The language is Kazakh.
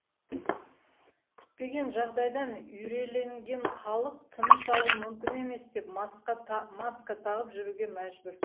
күтпеген жағдайдан үрейленген халық тыныс алу мүмкін емес деп маска тағып жүруге мәжбүр